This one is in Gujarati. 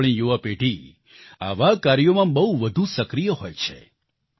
આપણી યુવા પેઢી આવા કાર્યોમાં બહુ વધુ સક્રિય હોય છે